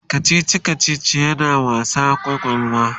kachichi kachichi yana wasa kwakwalwa